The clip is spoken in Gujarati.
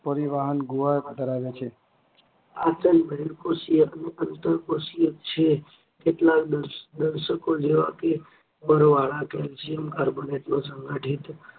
દુવાપ્તં ધરાવે છે. પાચન બર્દિકોષીય અને અંતઃકોષીય છે. કેટલાક દશકો જેવા કે, પરાયમ કર્બોનેટનું સંગઠિત